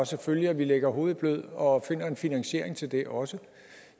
selvfølgelig at vi lægger hovedet i blød og finder en finansiering til det også